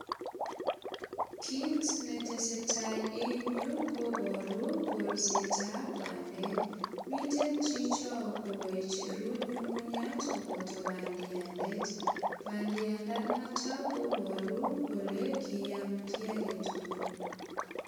Kit netesetai eng yu kobaru kolsetab bandek mite chichoko kaicheru nyungunyat koboto bandiandet. Bandiandanoto kobaru kole kiam kiy agetugul.